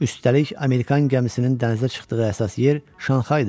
Üstəlik, Amerikan gəmisinin dənizə çıxdığı əsas yer Şanxay idi.